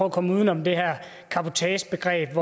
at komme uden om det her cabotagebegreb